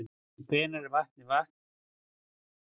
En hvenær er vatnið vatn og hvenær er það pollur?